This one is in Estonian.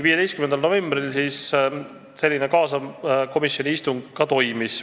15. novembril toimuski selline kaasav komisjoni istung.